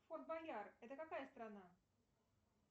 форт боярд это какая страна